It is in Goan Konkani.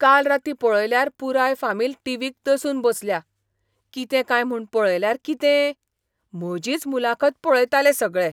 काल रातीं पळयल्यार पुराय फामील टीव्हीक दसून बसल्या. कितें काय म्हूण पळयल्यार कितें? म्हजीच मुलाखत पळयताले सगळे!